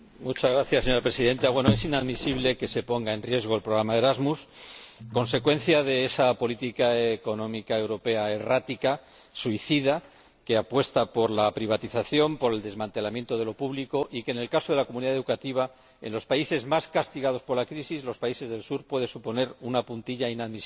Señora Presidenta, es inadmisible que se ponga en riesgo el programa Erasmus como consecuencia de esa política económica europea errática, suicida, que apuesta por la privatización, por el desmantelamiento de lo público, y que, en el caso de la comunidad educativa, en los países más castigados por la crisis, los países del Sur, puede suponer una puntilla inadmisible.